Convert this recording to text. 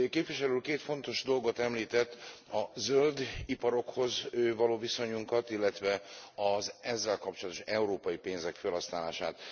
Képviselő Úr két fontos dolgot említett a zöld iparokhoz való viszonyunkat, illetve az ezzel kapcsolatos európai pénzek fölhasználását.